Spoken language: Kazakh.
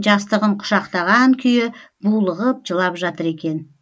жастығын құшақтаған күйі булығып жылап жатыр екен